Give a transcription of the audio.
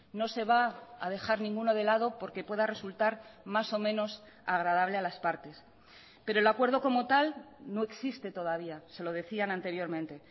no se va a dejar ninguno de lado porque pueda resultar más o menos agradable a las partes pero el acuerdo como tal no existe todavía se lo decían anteriormente